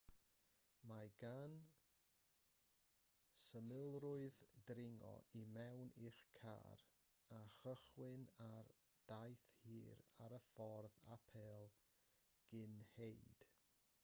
mae gan symlrwydd dringo i mewn i'ch car a chychwyn ar daith hir ar y ffordd apêl gynhenid